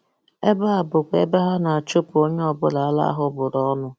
Ebe a bụkwa ebe ha na-achụpụ onye ọ bụla ala ahụ bụrụ ọnụ.